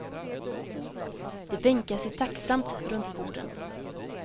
De bänkar sig tacksamt runt borden.